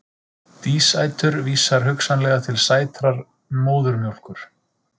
Dísætur vísar hugsanlega til sætrar móðurmjólkur.